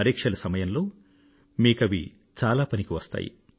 పరీక్షల సమయంలో మీకవి చాలా పనికి వస్తాయి